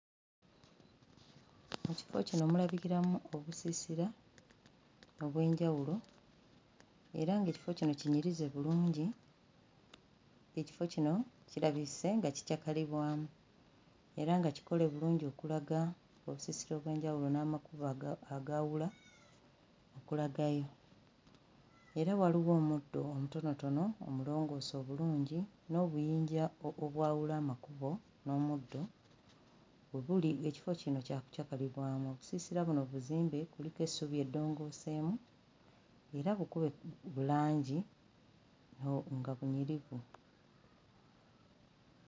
Mu kifo kino mulabikiiramu obusiisira obw'enjawulo era ng'ekifo kino kinyirize bulungi, ekifo kino kirabise nga kikyakalibwamu era nga kikole bulungi okulaga ensiisira ez'enjawulo n'amakubo aga agawuula okulaga, era waliwo omuddo omutonotono omulongoose obulungi n'obuyinja obwawula n'omuddo oguli ekifo kino kya kukyakalinwa. Obusiisira buzimbe kuliko essubi eddongooseemu era bukube langi nga nga bunyirivu